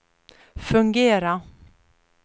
fungera